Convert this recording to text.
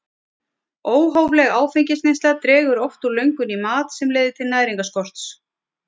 Óhófleg áfengisneysla dregur oft úr löngun í mat sem leiðir til næringarskorts.